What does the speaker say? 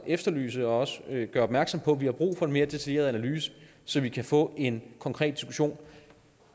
efterlyse og gøre opmærksom på at vi har brug for en mere detaljeret analyse så vi kan få en konkret diskussion